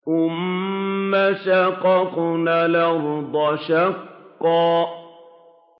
ثُمَّ شَقَقْنَا الْأَرْضَ شَقًّا